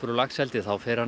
laxeldi þá fer hann